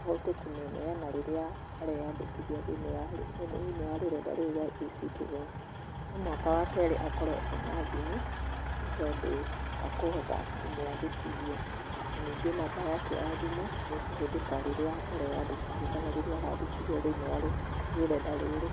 ahote kũmĩneana rĩrĩa areyandĩkithia thĩiniĩ wa thĩiniĩ wa rũrenda rũrũ rwa E-Citizen. No mũhaka wa kerĩ akorũo ena thimũ, nĩ tondũ wa kũhota kũmwandĩkithia. Na ningĩ namba yake ya thimũ, nĩ ĩkũhũthĩka rĩrĩa areyandĩkithia kana rĩrĩa arandĩkithio thĩiniĩ wa rũrenda rũrũ.